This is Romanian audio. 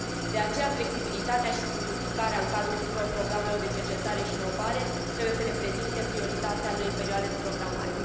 De aceea, flexibilitatea și simplificarea în cadrul tuturor programelor de cercetare și inovare trebuie să reprezinte prioritatea noii perioade de programare.